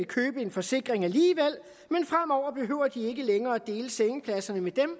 købe en forsikring men fremover behøver de ikke længere dele sengepladserne med dem